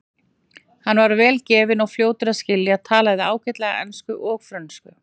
Hann var vel gefinn og fljótur að skilja, talaði ágætlega ensku og frönsku.